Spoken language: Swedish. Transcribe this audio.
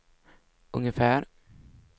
ungefär